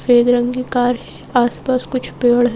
सफेद रंग की कार है आसपास कुछ पेड़ हैं।